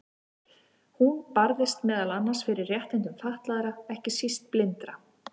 Hún barðist meðal annars fyrir réttindum fatlaðra, ekki síst blindra.